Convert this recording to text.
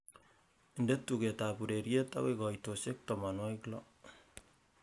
inde tuget ab ureryet agoi koitosiek tomonwogik loo